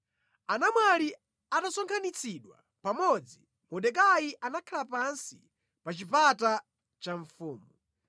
Anamwali atasonkhanitsidwa pamodzi, Mordekai anakhala pansi pa chipata cha mfumu.